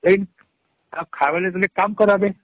ଏଇ ଖାଇବାର ଲାଗି ହେଲେ କାମ କାରବେ